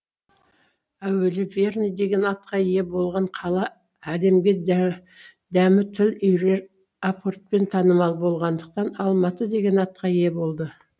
әуелі верный деген атқа ие болған қала әлемге дә дәмі тіл үйірер апортпен танымал болғандықтан алматы деген атқа ие болады